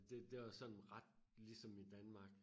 Det det var sådan ret ligesom i Danmark